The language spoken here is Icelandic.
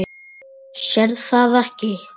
Sérð það ekki.